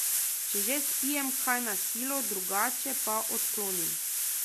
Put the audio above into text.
Če že, spijem kaj na silo, drugače pa odklonim.